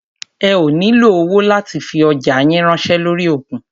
Ẹ ó nílo owó láti fi ọjá yín ránṣẹ́ lórí òkun.